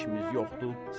Bununla da işimiz yoxdur.